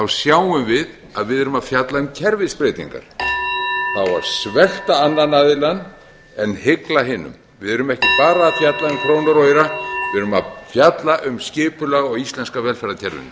sjáum við að við erum að fjalla um kerfisbreytingar það á að svelta annan aðilann en hygla hinum við erum ekki bara að fjalla um krónur og aura við erum að fjalla um skipulag á íslenska velferðarkerfinu